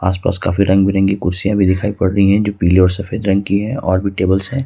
आस पास काफी रंग बिरंगी कुर्सियां भी दिखाई पड़ रही है जो पीले और सफेद रंग की है और भी टेबल्स है।